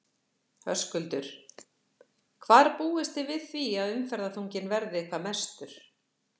Höskuldur: Hvar búist þið við því að umferðarþunginn verði hvað mestur?